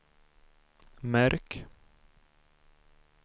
märk